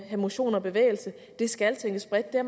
motion og bevægelse det skal tænkes bredt det er